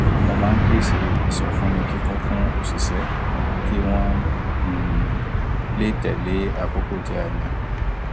mo máa ń pèsè ìsọfúnni kíkún fún òṣìṣẹ kí wón um lè tẹle àkókò tí a yàn